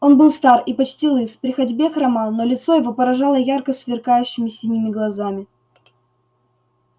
он был стар и почти лыс при ходьбе хромал но лицо его поражало ярко сверкающими синими глазами